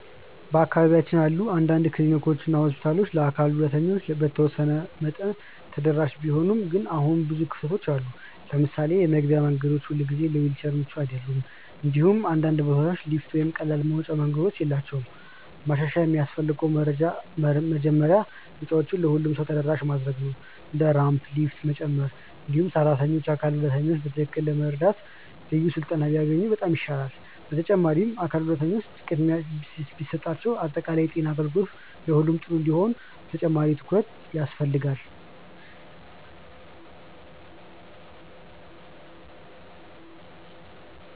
በአካባቢያችን ያሉ አንዳንድ ክሊኒኮች እና ሆስፒታሎች ለአካል ጉዳተኞች በተወሰነ መጠን ተደራሽ ቢሆኑም ግን አሁንም ብዙ ክፍተቶች አሉ። ለምሳሌ የመግቢያ መንገዶች ሁልጊዜ ለዊልቸር ምቹ አይደሉም፣ እንዲሁም አንዳንድ ቦታዎች ሊፍት ወይም ቀላል መውጫ መንገዶች የላቸውም። ማሻሻያ የሚያስፈልገው መጀመሪያ ህንፃዎችን ለሁሉም ሰው ተደራሽ ማድረግ ነው፣ እንደ ራምፕ እና ሊፍት መጨመር። እንዲሁም ሰራተኞች አካል ጉዳተኞችን በትክክል ለመርዳት ልዩ ስልጠና ቢያገኙ በጣም ይሻላል። በተጨማሪም አካል ጉዳተኞች ቅድሚያ ቢሰጣቸው በአጠቃላይ የጤና አገልግሎት ለሁሉም ጥሩ እንዲሆን ተጨማሪ ትኩረት ያስፈልጋል።